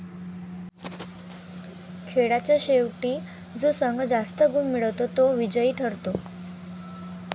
खेळाच्या शेवटी जो संघ जास्त गुण मिळवतो तो विजयी ठरतो.